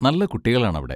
നല്ല കുട്ടികളാണ് അവിടെ.